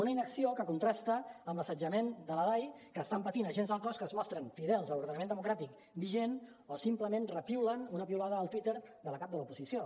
una inacció que contrasta amb l’assetjament de la dai que estan patint agents del cos que es mostren fidels a l’ordenament democràtic vigent o simplement repiulen una piulada al twitter de la cap de l’oposició